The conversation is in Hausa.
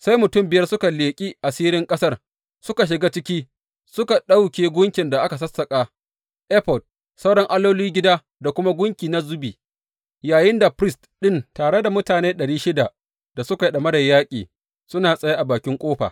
Sai mutum biyar da suka leƙi asirin ƙasar suka shiga ciki suka ɗauke gunkin da aka sassaƙa, efod, sauran allolin gida da kuma gunki na zubi yayinda firist ɗin tare da mutane ɗari shida da suka yi ɗamarar yaƙi suna tsaye a bakin ƙofa.